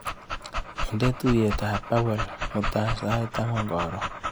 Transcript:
Inde tuiyet ak Pawel mutai sait angwan karon.